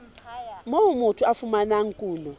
moo motho a fumanang kuno